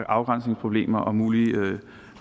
afgrænsningsproblemer og mulige